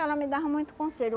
Ela me dava muito conselho.